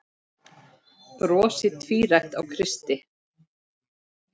Brosið tvírætt á Kristi.